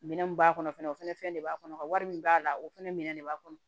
Minɛn mun b'a kɔnɔ fɛnɛ o fɛnɛ de b'a kɔnɔ ka wari min b'a la o fɛnɛ minɛ de b'a kɔnɔ